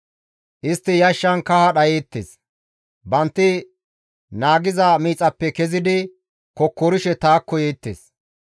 Istti yashshan kaha dhayeettes; bantti naagiza miixappe kezidi kokkorishe taakko yeettes.